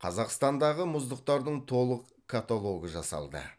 қазақстандағы мұздықтардың толық каталогы жасалды